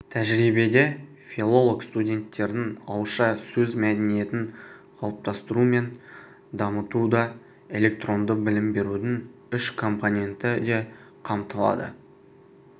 тәжірибеде филолог-студенттердің ауызша сөз мәдениетін қалыптастыру мен дамытудаэлектронды білім берудің үш компоненті де қамтылады